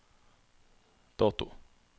dato